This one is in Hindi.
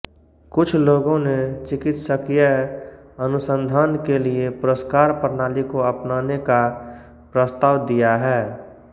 कुछ लोगों ने चिकित्सीय अनुसंधान के लिए पुरस्कार प्रणाली को अपनाने का प्रस्ताव दिया है